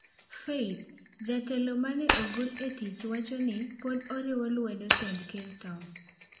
Faith: Jatelo ma ne ogol e tich wacho ni pod oriwo lwedo tend ker Tom